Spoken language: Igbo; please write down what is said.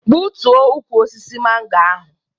Gbutuo ukwu osisi mango ahụ!